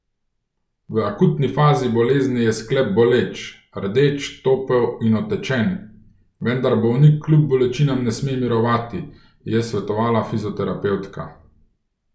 V akutni fazi bolezni je sklep boleč, rdeč, topel in otečen, vendar bolnik kljub bolečinam ne sme mirovati, je svetovala fizioterapevtka.